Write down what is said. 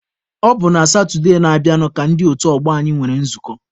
Ọ bụ na Satụde na-abịanụ ka ndị otu ọgbọ anyị nwere nzukọ.